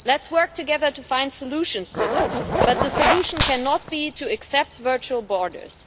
Let us work together to find solutions to that, but the solution cannot be to accept virtual borders.